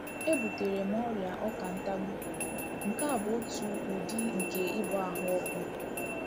E butere m ọrịa ọkà ntagbu, nke bụ́ otu udi nke ịba ahụ́ ọkụ.